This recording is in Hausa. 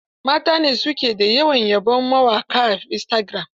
Mata ne su ke yawan yabon mawaƙa a istagiram.